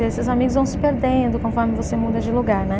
E esses amigos vão se perdendo conforme você muda de lugar, né?